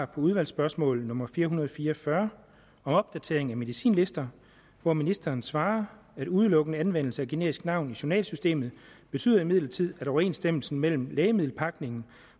på udvalgsspørgsmål nummer fire hundrede og fire og fyrre om opdatering af medicinlister hvor ministeren svarer at udelukkende anvendelse af generisk navn i journalsystemet betyder imidlertid at overensstemmelse mellem lægemiddelpakning